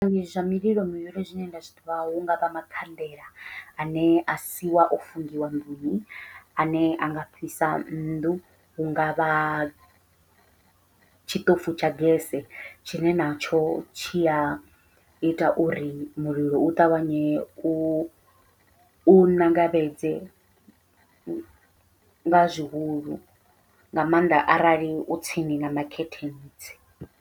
Zwivhangi zwa mililo zwine nda zwiḓivha hu ngavha makhanḓela ane asiwa o fungiwa nnḓuni ane anga fhisa nnḓu, hungavha tshiṱofu tsha gese tshine natsho tshi ya ita uri mulilo u ṱavhanye u u ṋangavhedze nga zwihulu nga maanḓa arali u tsini na makhethentsi.